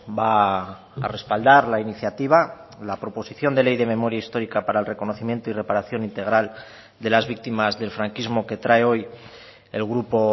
va a respaldar la iniciativa la proposición de ley de memoria histórica para el reconocimiento y reparación integral de las víctimas del franquismo que trae hoy el grupo